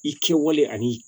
I kɛwale ani